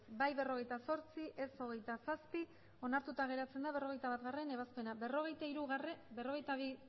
bai berrogeita zortzi ez hogeita zazpi onartuta geratzen da berrogeita batgarrena ebazpena berrogeita